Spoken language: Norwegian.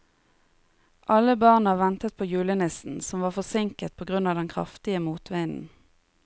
Alle barna ventet på julenissen, som var forsinket på grunn av den kraftige motvinden.